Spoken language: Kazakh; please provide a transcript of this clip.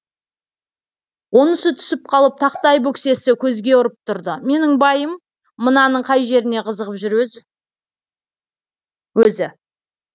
онысы түсіп қалып тақтай бөксесі көзге ұрып тұрды менің байым мынаның қай жеріне қызығып жүр өзі